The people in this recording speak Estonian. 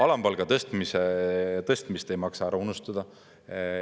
Alampalga tõstmist ei maksa ära unustada.